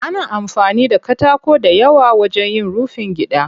Ana amfani da katako dayawa wajen yin rufin gida.